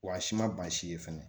Wa si ma ban si ye fɛnɛ